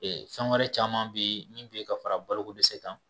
Ee fɛn wɛrɛ caman bi min be yen ka fara balo ko dɛsɛ kan.